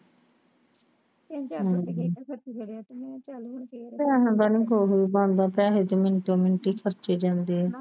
ਹਮ ਪੈਸੇ ਦਾ ਵੀ ਕੁਝ ਬਣਦਾ ਪੈਸੇ ਵੀ ਮੰਟੋ ਮਿੰਟ ਖਰਚੇ ਜਾਂਦੇ ਆ